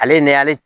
Ale ni ale